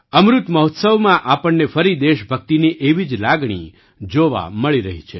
અમૃત મહોત્સવમાં આપણને ફરી દેશભક્તિની એવી જ લાગણી જોવા મળી રહી છે